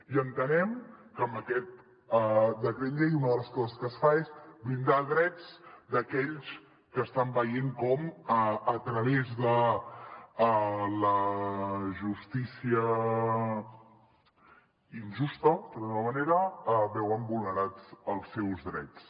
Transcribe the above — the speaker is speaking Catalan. i entenem que amb aquest decret llei una de les coses que es fa és blindar drets d’aquells que estan veient com a través de la justícia injusta per dir ho d’alguna manera veuen vulnerats els seus drets